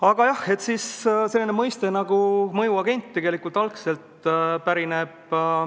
Aga jah, selline mõiste nagu "mõjuagent" pärineb KGB-st.